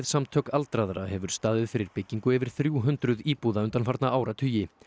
Samtök aldraðra hefur staðið fyrir byggingu yfir þrjú hundruð íbúða undanfarna áratugi